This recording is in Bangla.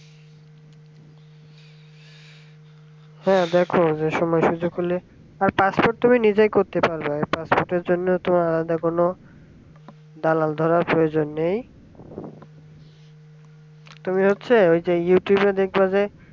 হ্যাঁ দেখো বেশি massage করলে আর passport তুমি নিজেই করতে পারবা passport এর জন্য আলাদা কোন দালাল ধরার প্রয়োজন নেই তুমি হচ্ছে ওই যে youtube দেখবা যে